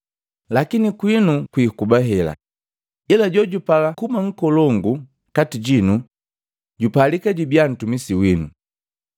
Lakini kwinu kwikuba hela, ila jojipala kuba nkolongu kati jinu, jupalika jubia ntumisi wino.